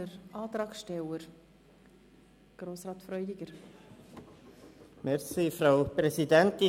Der Antragsteller hat noch einmal das Wort.